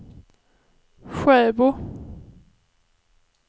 Sjöbo